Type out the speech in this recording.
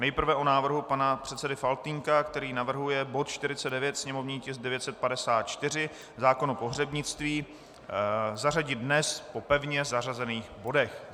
Nejprve o návrhu pana předsedy Faltýnka, který navrhuje bod 49, sněmovní tisk 954, zákon o pohřebnictví, zařadit dnes po pevně zařazených bodech.